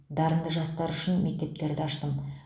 дарынды жастар үшін мектептерді аштым